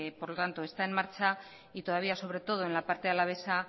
por lo tanto está en marcha y todavía sobre todo en la parte alavesa